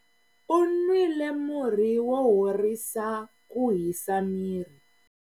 U nwile murhi wo horisa ku hisa miri.